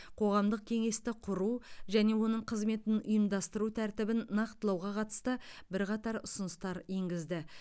қоғамдық кеңесті құру және оның қызметін ұйымдастыру тәртібін нақтылауға қатысты бірқатар ұсыныстар енгізді